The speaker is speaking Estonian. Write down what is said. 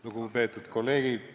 Lugupeetud kolleegid!